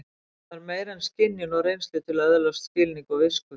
Það þarf meira en skynjun og reynslu til að öðlast skilning og visku.